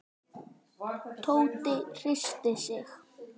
Tóti hristi sig.